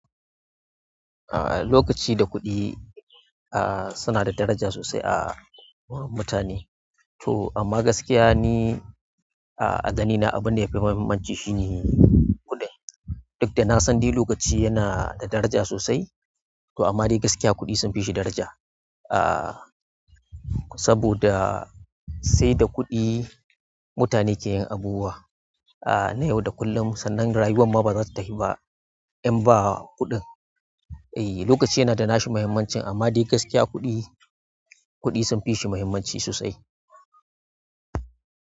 Ah, lokaci da kuɗi, ah, suna da daraja sosai a wurin mutane to amma gaskiya ni, a agani na abin da yafi muhimmanci shi ne kuɗi. Duk da na san di lokaci yana da daraja sosai, to amma dai gaskiya kuɗi sun fi shi daraja. Ah, saboda sai da kuɗi mutane ke yin abubuwa. Ah, na yau da kullum, sannan rayuwa ma bazata tafi ba in ba kuɗin. Eh, lokaci yana da nashi muhimmancin amma dai gaskiya kuɗi, kuɗi sun fi shi muhimmanci sosai.